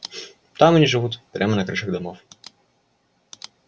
там они живут прямо на крышах домов